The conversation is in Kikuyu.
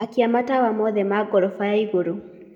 akia matawa mothe ma gorofa yaĩgũrũ